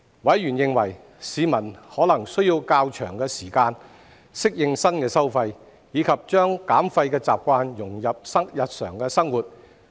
委員認為，市民可能需要較長時間適應新收費，以及將減廢習慣融入日常生活。